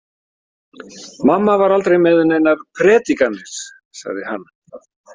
Mamma var aldrei með neinar predikanir, sagði hann.